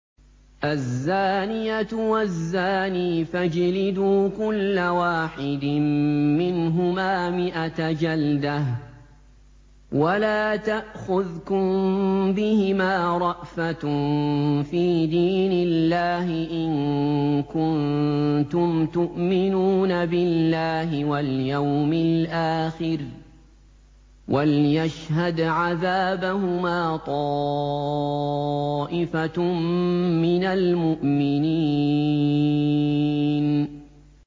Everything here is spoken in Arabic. الزَّانِيَةُ وَالزَّانِي فَاجْلِدُوا كُلَّ وَاحِدٍ مِّنْهُمَا مِائَةَ جَلْدَةٍ ۖ وَلَا تَأْخُذْكُم بِهِمَا رَأْفَةٌ فِي دِينِ اللَّهِ إِن كُنتُمْ تُؤْمِنُونَ بِاللَّهِ وَالْيَوْمِ الْآخِرِ ۖ وَلْيَشْهَدْ عَذَابَهُمَا طَائِفَةٌ مِّنَ الْمُؤْمِنِينَ